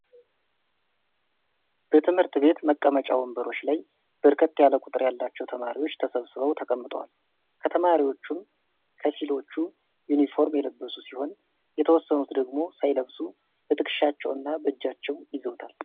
በትምህርት ቤት መቀመጫ ወንበሮች ላይ በርከት ያለ ቁጥር ያላቸው ተማሪዎች ተሰብስበው ተቀምጠዋል። ከተማሪዎቹም ከፊሎቹ ዩኒፎርም የለበሱ ሲሆን የተወሰኑት ደግሞ ሳይለብሱ በትከሻቸው እና በእጃቸው ይዘዉታል።